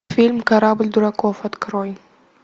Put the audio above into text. фильм корабль дураков открой